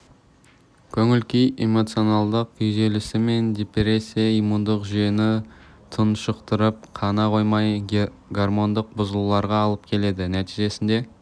көңіл-күй эмоционалдық күйзелісі мен депрессия иммундық жүйені тұншықтырып қана қоймай гормондық бұзылуларға алып келеді нәтижесінде